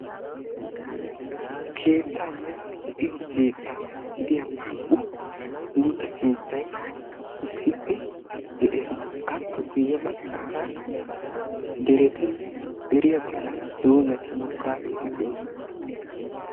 Keettanne de'iyo keetta gidiyaa naa"u buuxa keettay issippe de'ees. Appe guyye baggaara deretinne deriyaa bollan doozari mokkaageti doosona.